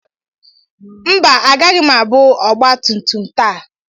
Mba, agaghị m abụ ọgba tum tum taa.